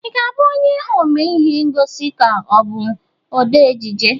Ị ga-abụ omee ihe ngosi ka ọ bụ odee ejije?